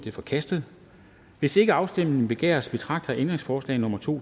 er forkastet hvis ikke afstemning begæres betragter jeg ændringsforslag nummer to